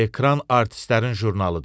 Ekran artistlərin jurnalidir.